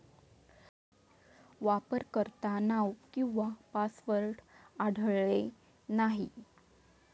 वापरकर्तानाव किंवा पासवर्ड आढळले नाही